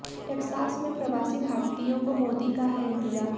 Texas में प्रवासी भारतीयों को मोदी का है इंतजार